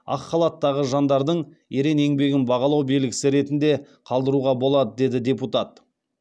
ақ халаттағы жандардың ерен еңбегін бағалау белгісі ретінде қалдыруға болады деді депутат